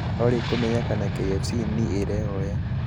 olly kūmenya kana kfc niīrehoya